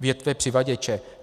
větve přivaděče.